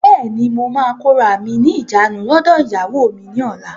Bẹ́ẹ̀ni, mo máa kóra mí ní ìjánu lọdọ ìyàwó mi ni ọ̀la.